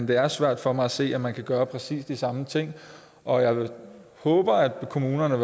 det er svært for mig at se at man kan gøre præcis de samme ting og jeg håber at kommunerne